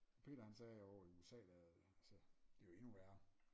Peter han sagde ovre i USA der altså det er jo endnu værre